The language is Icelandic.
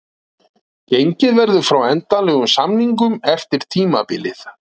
Gengið verður frá endanlegum samningum eftir tímabilið.